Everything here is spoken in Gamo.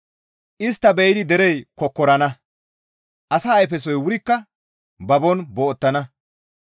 Istta be7idi derey kokkorana; asa ayfesoy wurikka babon boottana.